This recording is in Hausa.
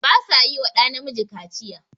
Ba sa yi wa ɗa Namiji Kaciya.